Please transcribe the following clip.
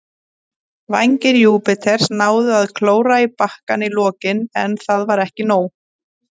Vængir Júpiters náðu að klóra í bakkann í lokin, en það var ekki nóg.